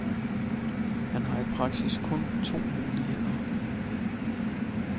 Han har i praksis kun to muligheder.